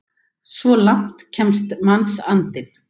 Svo langt kemst mannsandinn!